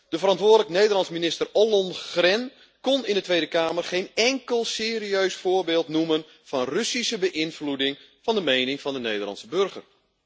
De verantwoordelijke Nederlandse minister, mevrouw Ollongren, kon in de Tweede Kamer geen enkel serieus voorbeeld noemen van Russische beïnvloeding van de mening van de Nederlandse burger.